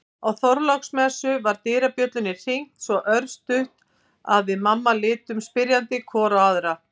Á Þorláksmessu var dyrabjöllunni hringt svo örstutt að við mamma litum spyrjandi hvor á aðra.